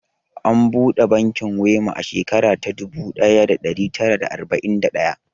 An buɗe bankin Wema a shekarar dubu ɗaya da ɗari tara da arba'in da biyar.